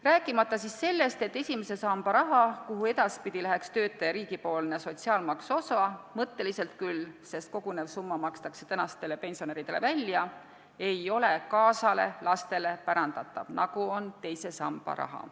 Rääkimata sellest, et esimese samba raha – edaspidi läheks sinna töötaja riigipoolne sotsiaalmaksu osa, seda küll mõtteliselt, sest kogunev summa makstakse tänastele pensionäridele välja – ei ole kaasale või lastele pärandatav, nagu on teise samba raha.